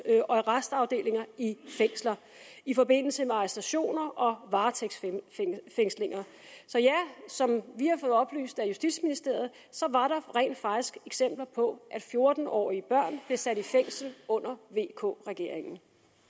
og arrestafdelinger i fængsler i forbindelse med arrestationer og varetægtsfængslinger så ja som vi har fået oplyst af justitsministeriet var der rent faktisk eksempler på at fjorten årige børn blev sat i fængsel under vk regeringen